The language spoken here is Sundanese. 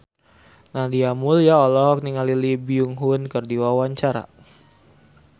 Nadia Mulya olohok ningali Lee Byung Hun keur diwawancara